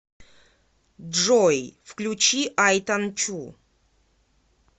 джой включи ай танчу